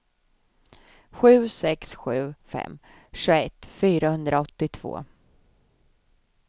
sju sex sju fem tjugoett fyrahundraåttiotvå